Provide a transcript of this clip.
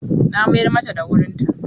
Na mayar mata da wurin ta.